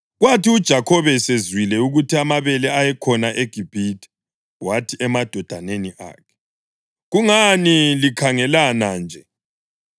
Kwathi uJakhobe esezwile ukuthi amabele ayekhona eGibhithe wathi emadodaneni akhe, “Kungani likhangelana nje?”